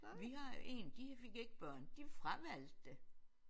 Vi har jo én de fik ikke børn de fravalgte det